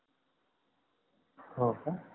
होका